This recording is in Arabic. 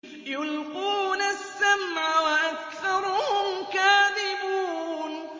يُلْقُونَ السَّمْعَ وَأَكْثَرُهُمْ كَاذِبُونَ